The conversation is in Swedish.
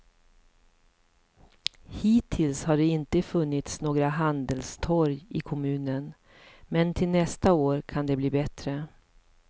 Hittills har det inte funnits några handelstorg i kommunen, men till nästa år kan det bli bättre.